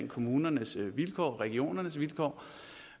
kommunerne og regionernes vilkår